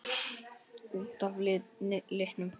Út af litnum?